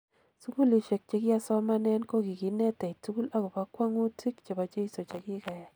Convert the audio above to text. Sugulishek chekiasomanen kokikinetech tugul akobo ngwo'ngutik chebo jeiso chekiyai